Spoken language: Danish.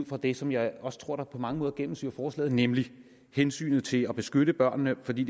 fra det som jeg også tror er på mange måder gennemsyrer forslaget nemlig hensynet til at beskytte børnene for det